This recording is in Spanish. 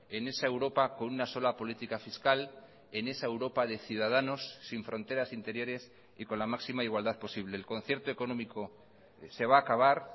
en esa europa con una sola política fiscal en esa europa de ciudadanos sin fronteras interiores y con la máxima igualdad posible el concierto económico se va a acabar